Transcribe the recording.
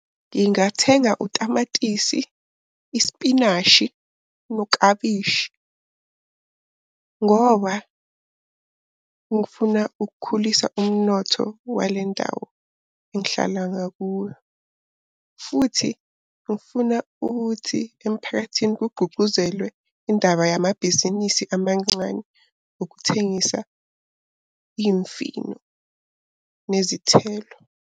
Ngingathenga utamatisi, ispinashi, noklabishi, ngoba ngifuna ukukhulisa umnotho wale ndawo engihlala ngakuyo. Futhi ngifuna ukuthi emphakathini kugqugquzelwe indaba yamabhizinisi amancane, ukuthengisa imfino nezithelo.